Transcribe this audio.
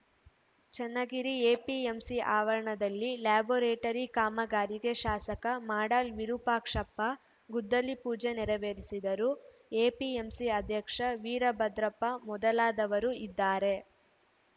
Channagiri APMC ಅವರಣದಲ್ಲಿ laboratory ಕಾಮಗಾರಿಗೆ ಶಾಸಕ ಮಾಡಾಳ್‌ ವಿರೂಪಾಕ್ಷಪ್ಪ ಗುದ್ದಲಿ ಪೂಜೆ ನೆರವೇರಿಸಿದರು ಎಪಿಎಂಸಿ ಅಧ್ಯಕ್ಷ ವೀರಭದ್ರಪ್ಪ ಮೊದಲಾದವರು ಇದ್ದಾರೆ